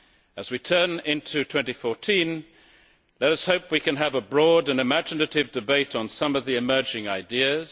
As we turn into 2014, let us hope we can have a broad and imaginative debate on some of the emerging ideas.